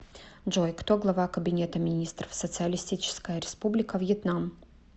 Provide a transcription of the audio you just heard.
джой кто глава кабинета министров социалистическая республика вьетнам